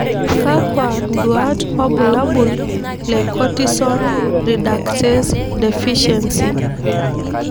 Kakwa nduat wobulabul le Cortisone reductase deficiency?